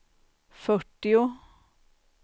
fyrtio